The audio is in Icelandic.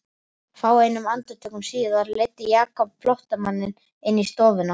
Fáeinum andartökum síðar leiddi Jakob flóttamanninn inn í stofuna.